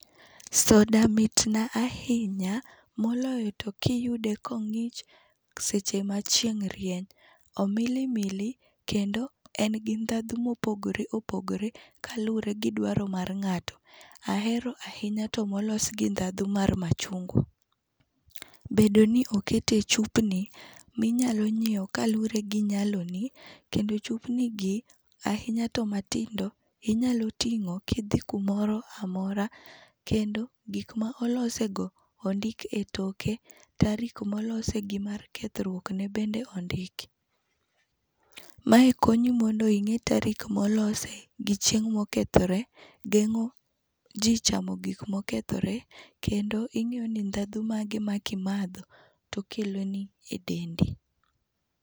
Soda mitna ahinya, moloyo to kiyude kong'ich seche machieng' rieny. Omilimili kendo en gi ndadhu mopogore opogore kaluwre gi dwaro mar ng'ato. Ahero ahinya to molos gi ndhadhu mar machungwa. Bedo ni okete e chupni, minyalo nyieo kaluwre gi nyaloni kendo chupnigi, ahinya to matindo inyalo ting'o kidhi kumoro amora kendo gik ma olosego ondik e toke. Tarik molose gi mar kethruokne bende ondik. Mae konyi mondo ing'e tarik molose gi chieng' mokethoree geng'o ji chamo gik mokethore, kendo ing'iyo ni ndhadhu mage ma kimadho to okeloni e dendi.